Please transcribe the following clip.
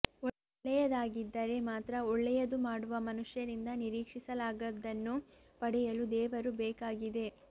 ಒಳ್ಳೆಯದಾಗಿದ್ದರೆ ಮಾತ್ರ ಒಳ್ಳೆಯದು ಮಾಡುವ ಮನುಷ್ಯರಿಂದ ನಿರೀಕ್ಷಿಸಲಾಗದ್ದನ್ನು ಪಡೆಯಲು ದೇವರು ಬೇಕಾಗಿದೆ